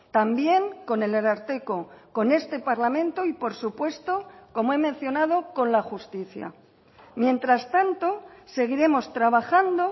también con el ararteko con este parlamento y por supuesto como he mencionado con la justicia mientras tanto seguiremos trabajando